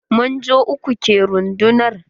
Manjo uku ke rundunar.